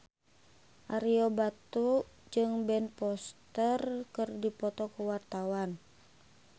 Ario Batu jeung Ben Foster keur dipoto ku wartawan